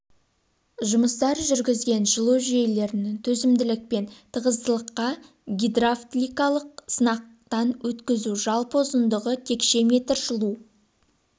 жұмыстар жүргізген жылу жүйелерін төзімділік пен тығыздылыққа гидравликалық сынақтан өткізу жалпы ұзындығы текше метр жылу